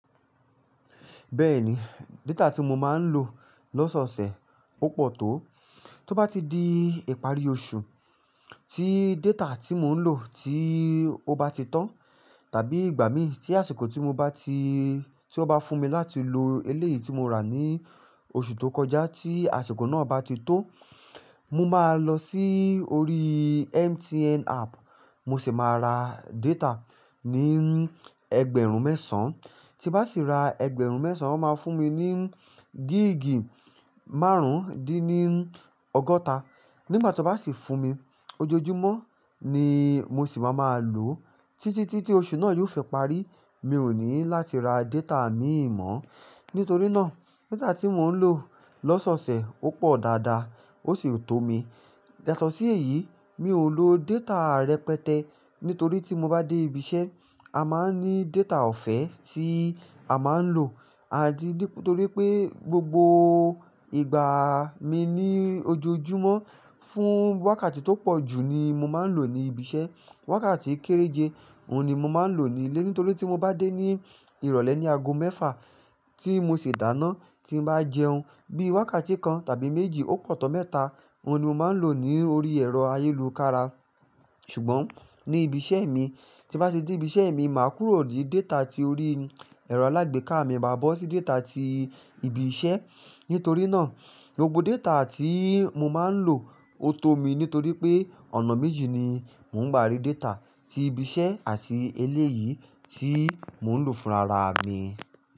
Bẹ́ẹ̀ni, data tí mo máa ń lò lọ́sọ̀sẹ̀ ó pọ̀ tó. Tí ó bá ti di ìparí oṣù, tí data tí mò ń lò tí ó bá ti tán, tàbí ìgbà mi tí àsìkò tí ó bá fún mi láti lò eléyìí tí mo rà ní oṣù tó kọjá tí àsìkò náà bá ti tó, mo máa lọ sí orí MTN app, mo sì máa ra data ní ẹgbẹ̀rún mẹ́sàn-án. Tí bá sì ra ẹgbẹ̀rún mẹ́sàn-án, ó máa fún mi ní gíìgì márùn-ún dín ní ọgọ́ta. Nígbà tí ó bá sì fún mi, ojoojúmọ́ ni mo sì máa ń lò ó títí tí oṣù náà yiò fẹ́ parí. Mi ò ní láti ra data mìíràn mọ́. Nítorí náà, data tí mò ń lò lọ́sọ̀sẹ̀ ó pọ̀ dáadáa, ó sì tó mi. Yaatọ sí èyí, mi ò lo data rẹpẹtẹ nítorí tí mo bá dé ibi iṣẹ́, a máa ń ní data ọ̀fẹ́ tí a máa ń lò nítorí pé gbogbo ìgbà mi ní ojoojúmọ́ fún wákàtí tó pọ̀ jù ni mo máa ń lò ní ibi iṣẹ́. Wákàtí kéréje, òun ni mo máa ń lò nílé nítorí tí mo bá dé ní ìrọ̀lẹ́ ní ago mẹ́fà tí mo ṣi dáná, tí n bá jẹun, bí i wákàtí kan tàbí méjì ó pọ̀ tó mẹ́ta, òun ni mo máa ń lò ní orí ẹ̀rọ ayélujára. Ṣùgbọ́n ní ibi iṣẹ́ mi, tí bá ti de ibi iṣẹ́ mi, màá kúrò di data tí orí ẹ̀rọ alágbèéká mi ma bọ́ sí data tí ibi iṣẹ́. Nítorí náà, gbogbo data tí mo máa ń lò ó tó mi nítorí pé ọ̀nà méjì ni mò ń gbárí data, ti ibi iṣẹ́ àti eléyìí tí mò ń lò fún rara mi.